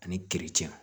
Ani